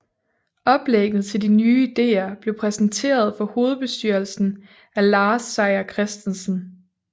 Oplægget til de nye ideer blev præsenteret for hovedbestyrelsen af Lars Seier Christensen